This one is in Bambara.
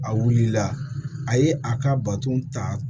A wulila a ye a ka bato ta